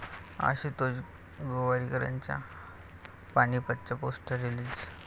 आशुतोष गोवारीकरांच्या 'पानिपत'चं poster release